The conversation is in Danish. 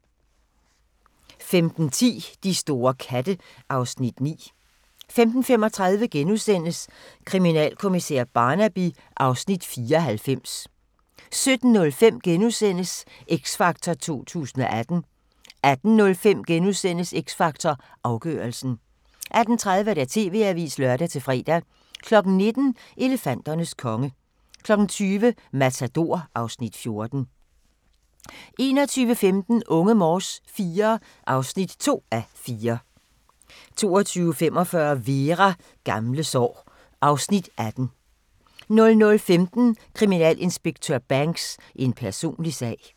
15:10: De store katte (Afs. 9) 15:35: Kriminalkommissær Barnaby (Afs. 94)* 17:05: X Factor 2018 * 18:05: X Factor Afgørelsen * 18:30: TV-avisen (lør-fre) 19:00: Elefanternes konge 20:00: Matador (Afs. 14) 21:15: Unge Morse IV (2:4) 22:45: Vera: Gamle sår (Afs. 18) 00:15: Kriminalinspektør Banks: En personlig sag